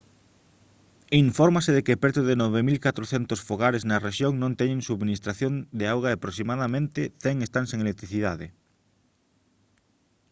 infórmase de que preto de 9400 fogares na rexión non teñen subministración de auga e aproximadamente 100 están sen electricidade